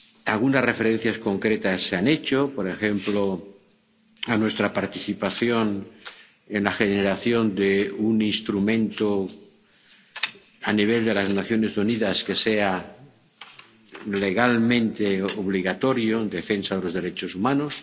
Algunas referencias concretas se han hecho, por ejemplo, a nuestra participación en la generación de un instrumento a nivel de las Naciones Unidas, que sea legalmente obligatorio, en defensa de los derechos humanos.